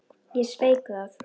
Ég sveik það.